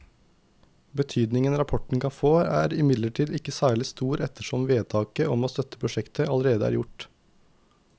Betydningen rapporten kan få er imidlertid ikke særlig stor ettersom vedtaket om å støtte prosjektet allerede er gjort.